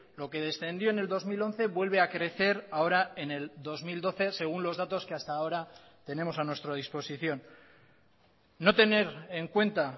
lo que descendió en el dos mil once vuelve a crecer ahora en el dos mil doce según los datos que hasta ahora tenemos a nuestra disposición no tener en cuenta